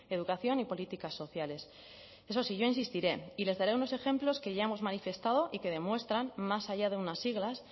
educación y políticas sociales eso sí yo insistiré y les daré unos ejemplos que ya hemos manifestado y que demuestran más allá de unas siglas